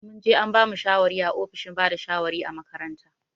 Mun je an bamu shawari a ofishin bada shawari a makaranta.